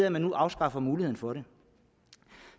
at man nu afskaffer muligheden for det